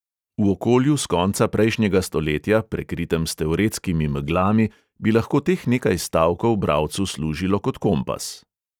V okolju s konca prejšnjega stoletja, prekritem s teoretskimi meglami, bi lahko teh nekaj stavkov bralcu služilo kot kompas.